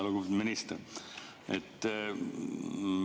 Lugupeetud minister!